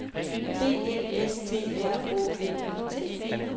B E S T R Å L E T